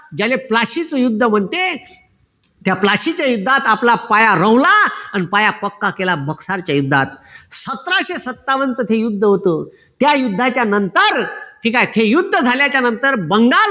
ज्याला प्लासीच युद्ध म्हणते त्या प्लासीच्या युद्धात आपला पाया रवला अन पाय पक्का केला बक्सरच्या युद्धात सतराशे सत्तावन्नच ते युद्ध होत त्या युद्धाच्या नंतर ठीक आहे ते युद्ध झाल्याच्या नंतर बंगाल